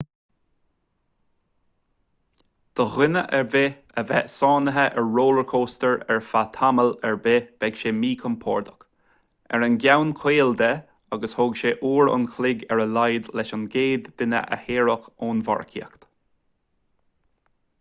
do dhuine ar bith a bheith sáinnithe ar rollchóstóir ar feadh tamall ar bith bheadh sé míchompordach ar an gceann caol de agus thóg sé uair an chloig ar a laghad leis an gcéad duine a shaoradh ón mharcaíocht